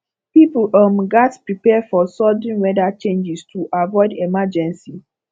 pipo um gatz prepare for sudden weather changes to avoid emergency